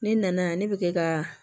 Ne nana yan ne bɛ kɛ ka